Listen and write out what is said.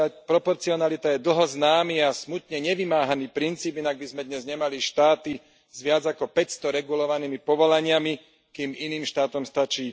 Proporcionalita je dlho známy a smutne nevymáhaný princíp, inak by sme dnes nemali štáty s viac ako 500 regulovanými povolaniami, kým iným štátom stačí